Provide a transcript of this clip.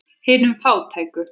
Hinum fátæku.